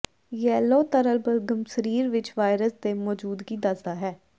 yellow ਤਰਲ ਬਲਗ਼ਮ ਸਰੀਰ ਵਿੱਚ ਵਾਇਰਸ ਦੇ ਮੌਜੂਦਗੀ ਦੱਸਦਾ ਹੈ